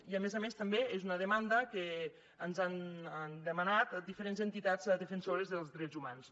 i a més a més també és una demanda que ens han demanat diferents entitats defensores dels drets humans